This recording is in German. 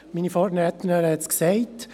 Meine Vorrednerin hat es gesagt: